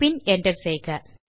பின் மீண்டும் Enter